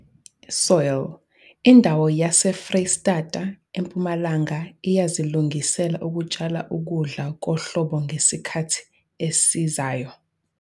Soil- Indawo yesiFreyistata Empumalanga iyazilungisela ukutshala ukudla kohlobo ngesikhathi esizayo.